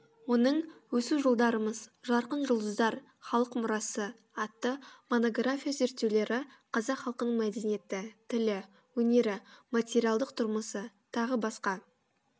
оның өсу жолдарымыз жарқын жұлдыздар халық мұрасы атты монография зерттеулері қазақ халқының мәдениеті тілі өнері материалдық тұрмысы‚ т б